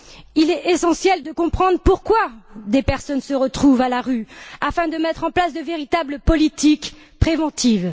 Il est essentiel de comprendre pourquoi des personnes se retrouvent à la rue, afin de mettre en place de véritables politiques préventives.